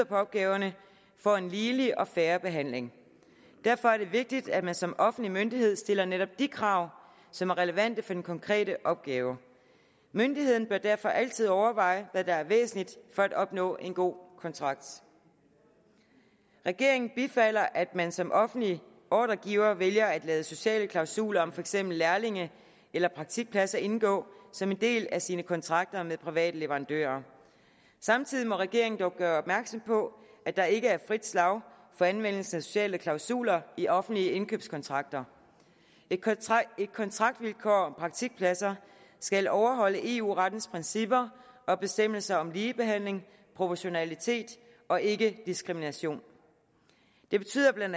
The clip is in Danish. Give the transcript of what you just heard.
på opgaverne får en ligelig og fair behandling derfor er det vigtigt at man som offentlig myndighed stiller netop de krav som er relevante for den konkrete opgave myndigheden bør derfor altid overveje hvad der er væsentligt for at opnå en god kontrakt regeringen bifalder at man som offentlig ordregiver vælger at lade sociale klausuler om for eksempel lærlinge eller praktikpladser indgå som en del af sine kontrakter med private leverandører samtidig må regeringen dog gøre opmærksom på at der ikke er frit slag for anvendelse af sociale klausuler i offentlige indkøbskontrakter et kontraktvilkår om praktikpladser skal overholde eu rettens principper og bestemmelser om ligebehandling proportionalitet og ikkediskrimination det betyder bla